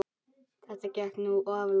Þetta gekk nú of langt.